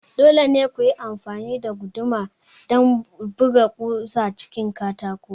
Dole ne ku yi amfani da guduma don buga ƙusa cikin katako